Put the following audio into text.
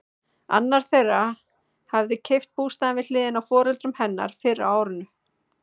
Annar þeirra hafði keypt bústaðinn við hliðina á foreldrum hennar fyrr á árinu.